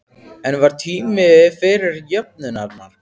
En var tími fyrir jöfnunarmark?